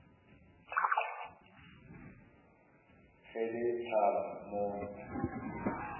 ge le hlaba mo nna